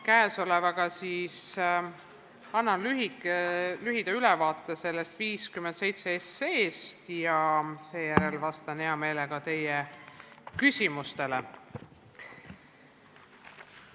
Käesolevaga annan lühida ülevaate eelnõust 57 ja seejärel vastan hea meelega teie küsimustele.